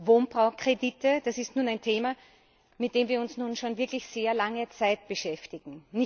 Wohnbaukredite das ist ein Thema, mit dem wir uns nun schon wirklich sehr lange Zeit beschäftigen.